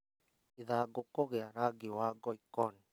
Ithangũ kũgĩa rangi wa ngoikoni-